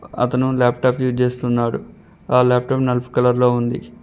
అతను laptop use చేస్తున్నాడు ఆ లాప్టాప్ నలుపు కలర్ లో ఉంది.